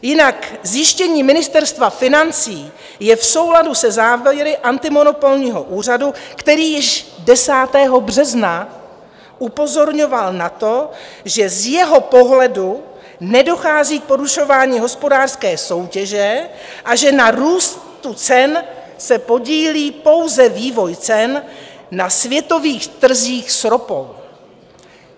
Jinak zjištění Ministerstva financí je v souladu se závěry antimonopolního úřadu, který již 10. března upozorňoval na to, že z jeho pohledu nedochází k porušování hospodářské soutěže a že na růstu cen se podílí pouze vývoj cen na světových trzích s ropou.